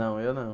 Não, eu não.